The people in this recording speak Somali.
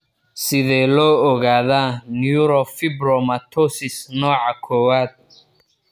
Sidee loo ogaadaa neurofibromatosis nooca kowad?